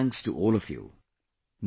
Many thanks to all of you